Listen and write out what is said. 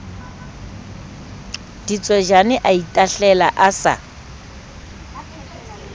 ditswejane a itahlela a sa